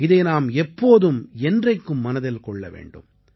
இதை நாம் எப்போதும் என்றைக்கும் மனதில் கொள்ள வேண்டும்